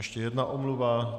Ještě jedna omluva.